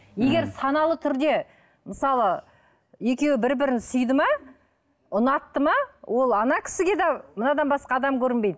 егер саналы түрде мысалы екеуі бір бірін сүйді ме ұнатты ма ол ана кісіге де мынадан басқа адам көрінбейді